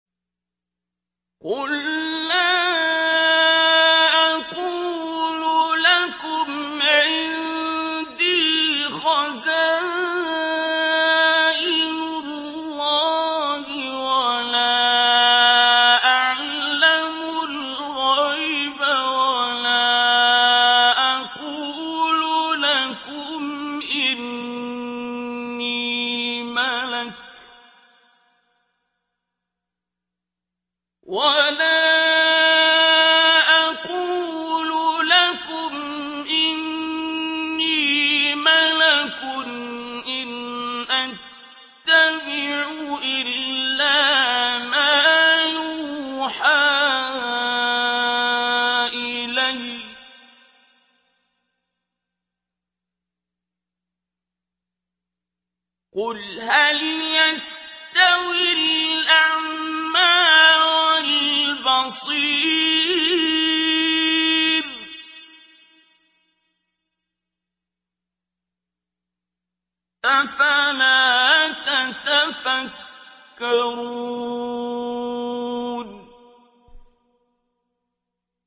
قُل لَّا أَقُولُ لَكُمْ عِندِي خَزَائِنُ اللَّهِ وَلَا أَعْلَمُ الْغَيْبَ وَلَا أَقُولُ لَكُمْ إِنِّي مَلَكٌ ۖ إِنْ أَتَّبِعُ إِلَّا مَا يُوحَىٰ إِلَيَّ ۚ قُلْ هَلْ يَسْتَوِي الْأَعْمَىٰ وَالْبَصِيرُ ۚ أَفَلَا تَتَفَكَّرُونَ